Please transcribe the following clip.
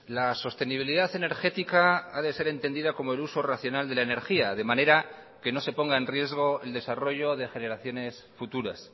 la sostenibilidad energética ha de ser entendida como el uso racional de la energía de manera que no se ponga en riesgo el desarrollo de generaciones futuras